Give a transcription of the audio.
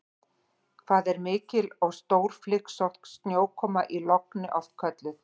Hvað er mikil og stórflygsótt snjókoma í logni oft kölluð?